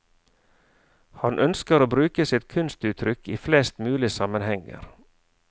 Han ønsker å bruke sitt kunstuttrykk i flest mulig sammenhenger.